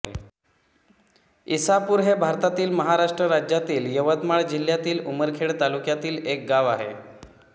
इसापूर हे भारतातील महाराष्ट्र राज्यातील यवतमाळ जिल्ह्यातील उमरखेड तालुक्यातील एक गाव आहे